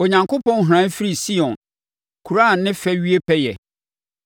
Onyankopɔn hran firi Sion kuro a ne fɛ wie pɛ yɛ.